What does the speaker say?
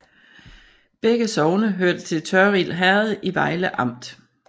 Begge sogne hørte til Tørrild Herred i Vejle Amt